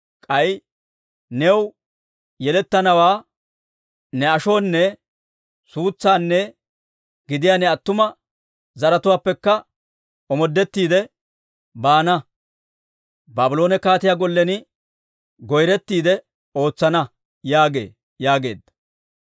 K'ay new yelettanawaa, ne ashonne suutsanne gidiyaa ne attuma zaratuwaappekka omoodettiide baana; Baabloone kaatiyaa gollen goyretiide ootsana› yaagee» yaageedda.